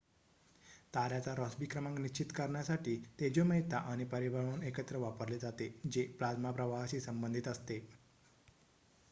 ताऱ्याचा Rossby क्रमांक निश्चित करण्यासाठी तेजोमयता आणि परिभ्रमण एकत्र वापरले जाते जे प्लाझ्मा प्रवाहाशी संबंधित असते